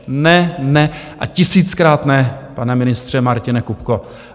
Ne, ne a tisíckrát ne, pane ministře Martine Kupko.